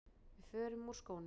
Við förum úr skónum.